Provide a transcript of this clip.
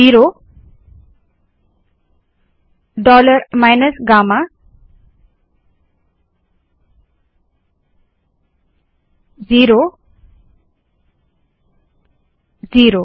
zero dollar minus gamma zero zero